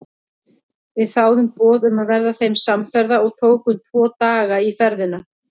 Við þáðum boð um að verða þeim samferða og tókum tvo daga í ferðina.